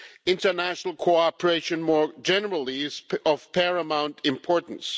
International cooperation more generally is of paramount importance.